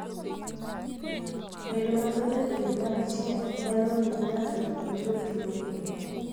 Bedo mathoth e pilni mag chieng' nyalo miyi ngato yuod tuo ni.